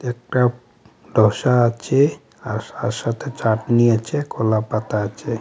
এটা ডোসা আছে আর তার সাথে চাটনি আছে কলা পাতা আছে.